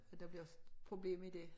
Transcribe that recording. At der bliver problem i dét